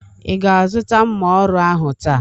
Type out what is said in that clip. Ị ga-azụta mma ọrụ ahụ taa?